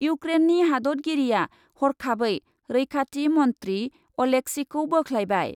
इउक्रेननि हादतगिरिआ हरखाबै रैखाथि मन्थ्रि अलेक्सिखौ बोख्लायबाय।